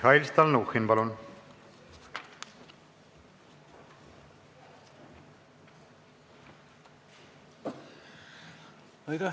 Mihhail Stalnuhhin, palun!